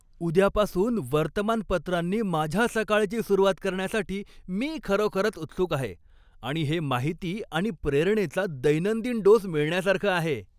उद्यापासून वर्तमानपत्रानी माझ्या सकाळची सुरुवात करण्यासाठी मी खरोखरच उत्सुक आहे आणि हे माहिती आणि प्रेरणेचा दैनंदिन डोस मिळण्यासारखं आहे.